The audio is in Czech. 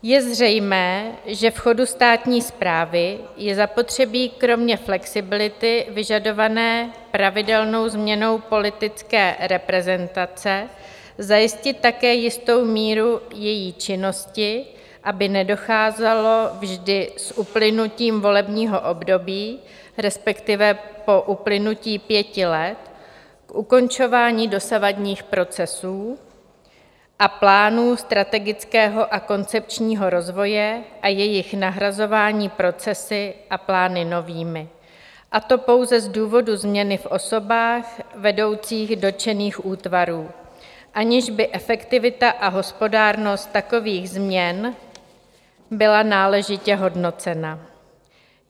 Je zřejmé, že v chodu státní správy je zapotřebí kromě flexibility vyžadované pravidelnou změnou politické reprezentace zajistit také jistou míru její činnosti, aby nedocházelo vždy s uplynutím volebního období, respektive po uplynutí pěti let, k ukončování dosavadních procesů a plánů strategického a koncepčního rozvoje a jejich nahrazování procesy a plány novými, a to pouze z důvodu změny v osobách vedoucích dotčených útvarů, aniž by efektivita a hospodárnost takových změn byla náležitě hodnocena.